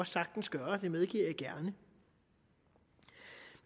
sagtens gøre det medgiver jeg gerne